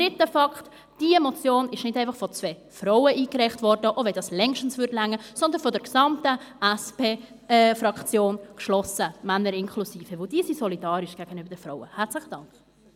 Dritter Fakt: Diese Motion ist nicht einfach von zwei Frauen eingereicht worden, auch wenn das längst genügen würde, sondern geschlossen von der gesamten SP-Fraktion, Männer inklusive, weil diese gegenüber den Frauen solidarisch sind.